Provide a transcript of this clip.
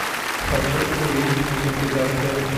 хочу увидеть мультипликацию